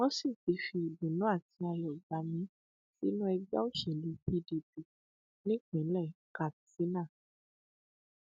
wọn sì ti fi ìdùnnú àti ayọ gbà mí sínú ẹgbẹ òṣèlú pdp nípínlẹ katsina